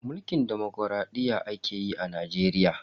Mulkin demokradiyya ake yi a Najeriya.